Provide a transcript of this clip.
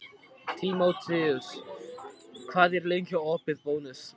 Tímoteus, hvað er lengi opið í Bónus?